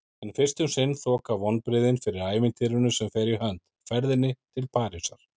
En fyrst um sinn þoka vonbrigðin fyrir ævintýrinu sem fer í hönd: ferðinni til Parísar.